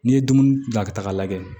N'i ye dumuni bila ka taga lajɛ